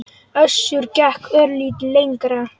Össur gekk örlítið lengra.